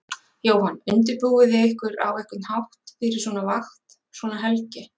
Jóhann: Undirbúið þið ykkur á einhvern hátt fyrir svona vakt, svona helgi?